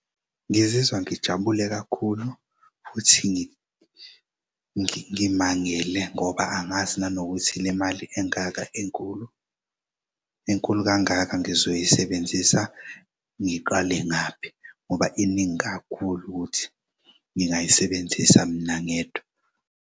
Ngizizwa ngijabule kakhulu futhi ngimangele ngoba angazi nanokuthi le mali engaka enkulu, enkulu kangaka ngizoyisebenzisa ngiqale ngaphi ngoba iningi kakhulu ukuthi ngingayisebenzisa mina ngedwa.